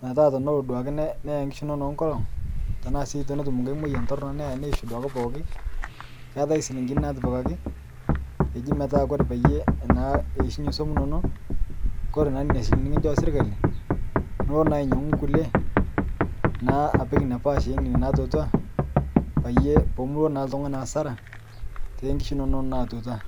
metaa teneloo duakee neyaa nkishu inono nkolong tanaa sii tenetum nghai moyan tornoo neyaa neishu duake pooki keatai silinkini natipikakii eji metaa Kore peiye metaa keishunyee suom inonoo Kore naa nenia silinkini nikinshoo sirkalii Niko naa ainyanguu nkulie naa apik inia paash enenia natuataa payie pumuloo naa ltungani naa hasara tenkishu inono natuataa